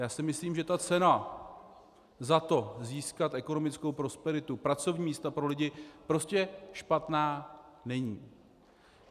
Já si myslím, že ta cena za to získat ekonomickou prosperitu, pracovní místa pro lidi prostě špatná není.